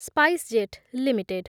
SpiceJet limited